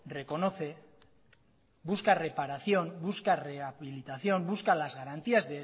reconoce busca reparación busca rehabilitación busca las garantías